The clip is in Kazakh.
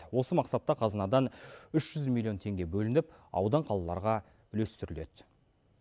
осы мақсатта қазынадан үш жүз миллион теңге бөлініп аудан қалаларға үлестіріледі